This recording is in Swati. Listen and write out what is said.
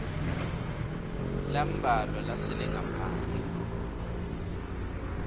lambalwa lasele ngaphandle